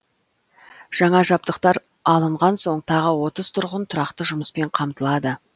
жаңа жабдықтар алынған соң тағы отыз тұрғын тұрақты жұмыспен қамтылады